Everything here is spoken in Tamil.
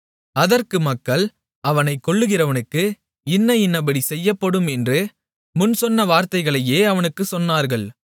அதற்கு மக்கள் அவனைக் கொல்கிறவனுக்கு இன்ன இன்னபடி செய்யப்படும் என்று முன் சொன்ன வார்த்தைகளையே அவனுக்குச் சொன்னார்கள்